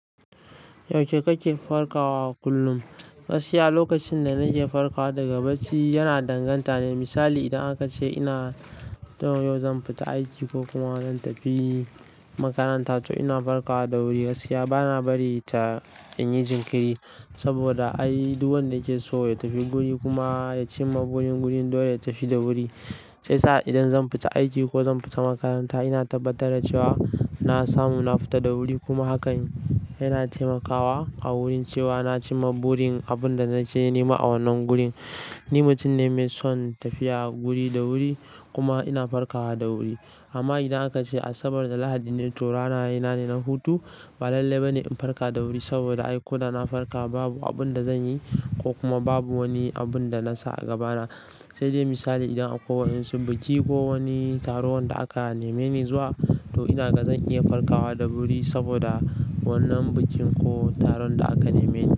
Yaushe kake farkawa kullum? Gaskiya lokacin da nake farkawa daga bacci yana danganta ne. Misali idan aka ce ina yau yau zan fita aiki ko kuma zan tafi makaranta, to ina farkawa da wuri. Gaskiya bana bari ta in yi jinkiri, saboda ai duk wanda yake so ya tafi guri kuma ya cimma burin wurin, dole ya tafi da wuri. Sai sa idan zan fita aiki ko zan fita makaranta ina tabbatar da cewa na samu na fita da wuri kuma hakan yana taimakawa a wurin cewa na cimma burin abin da nake nema a wannan gurin. Ni mutum ne mai son tafiya wuri da wuri kuma ina farkawa da wuri. Amma idan aka ce Asabar da Lahadi ne torana yena ne na hutu, ba lalle ba ne in farka da wuri saboda ko da na farka babu abin da zan yi ko kuma babu wani abin da nasa a gabana. Sai dai misali idan akwai wa'ensu biki ko wani taron da aka neme ni zuwa, to ina ga zan iya farkawa da wuri saboda wannan bikin ko taron da aka neme ni.